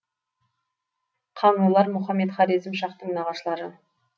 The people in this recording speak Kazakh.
қаңлылар мұхаммед хорезм шахтың нағашылары